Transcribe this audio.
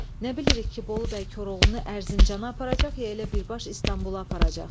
Nə bilirik ki, Bolu bəy Koroğlunu Ərzincana aparacaq, ya elə birbaş İstanbula aparacaq?